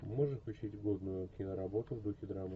можешь включить годную киноработу в духе драмы